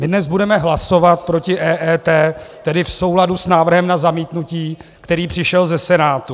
My dnes budeme hlasovat proti EET, tedy v souladu s návrhem na zamítnutí, který přišel ze Senátu.